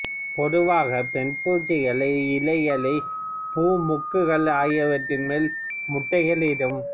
பொதுவாகப் பெண் பூச்சிகள் இலைகள் பூ மொக்குகள் ஆகியவற்றின் மேல் முட்டைகளை இடும்